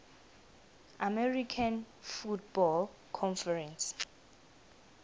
american football conference